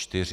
Čtyři.